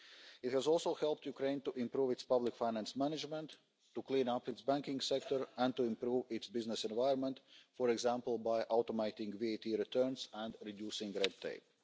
It has also helped Ukraine to improve its public finance management, to clean up its banking sector and to improve its business environment, for example, by automating VAT returns and reducing red tape.